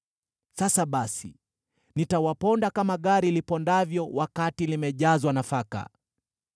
“Sasa basi, nitawaponda kama gari lipondavyo wakati limejazwa nafaka.